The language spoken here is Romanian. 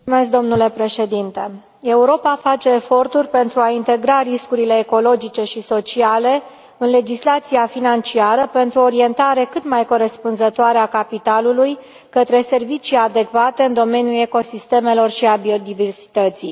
Domnule președinte, Europa face eforturi pentru a integra riscurile ecologice și sociale în legislația financiară, pentru o orientare cât mai corespunzătoare a capitalului către servicii adecvate în domeniile ecosistemelor și biodiversității.